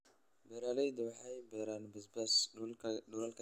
Beeraleydu waxay beeraan basbaas dhulalka yaryar.